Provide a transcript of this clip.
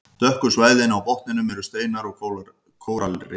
Dökku svæðin á botninum eru steinar og kóralrif.